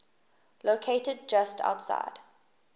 located just outside